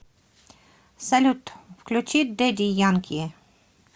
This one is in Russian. салют включи дэдди янки